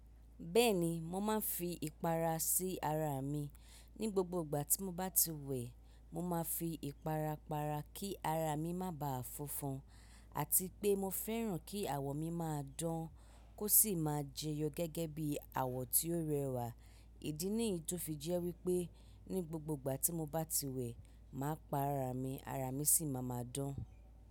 Bẹ́ẹ̀ni, mo máa ń fi ìpara sí ara mi. Ní gbogbo ìgbà tí mo bá ti wẹ̀, mo máa fi ìpara para kí ara mi má bàá funfun àti pé mo fẹ́ràn kí àwọ̀ mi máa dán, kó sì máa jẹyọ gẹ́gẹ́ bí àwọ̀ tí ó rẹwà. Ìdí nìyí tó fi jẹ́ wípé ní gbogbo ìgbà tí mo bá ti wẹ̀, màá pa ara mi, ara mi sì máa ma dán.